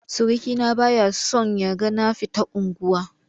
Surukina ba ya son ya ga na fita unguwa.